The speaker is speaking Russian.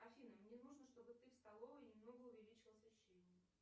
афина мне нужно чтобы ты в столовой немного увеличила освещение